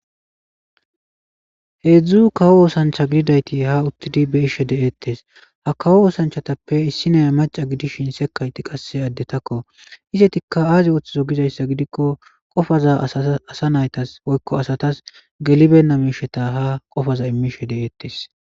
Heedzdzu kawo oosanchcha gidiyayti haa be'ishe de'ettes. Ha kawo oosanchchatappe issiniya macca gidishin sekkayti qasse addetakko. Izetikka aazi ooththizo gizaysas gidikko qofaza asa naytas woykko asatas gelibeena miimiishsheza ha qofa immishe de'ettes.